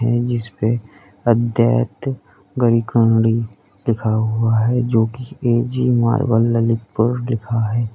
हैं जिसपे अद्वैत गरीकरणी लिखा हुआ है जो कि ए_जी मार्बल ललितपुर लिखा है।